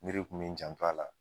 kun bi n janfa a la.